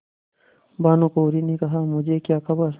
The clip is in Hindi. भानुकुँवरि ने कहामुझे क्या खबर